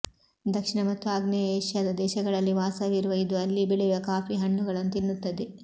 ದಕ್ಷಿಣ ಮತ್ತು ಆಗ್ನೇಯ ಏಷ್ಯಾದ ದೇಶಗಳಲ್ಲಿ ವಾಸವಿರುವ ಇದು ಅಲ್ಲಿ ಬೆಳೆಯುವ ಕಾಫಿ ಹಣ್ಣುಗಳನ್ನು ತಿನ್ನುತ್ತದೆ